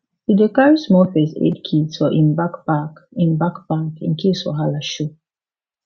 e dey carry small first aid kit for im backpack im backpack in case wahala show